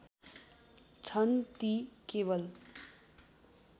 छन् ती केवल